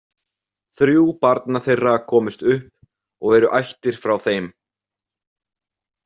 Þrjú barna þeirra komust upp og eru ættir frá þeim.